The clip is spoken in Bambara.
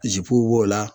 Zipuw b'o la